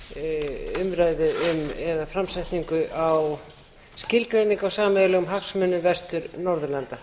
með framsetningu á skilgreiningu á sameiginlegum hagsmunum vestur norðurlanda